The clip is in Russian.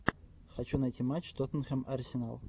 хочу найти матч тоттенхэм арсенал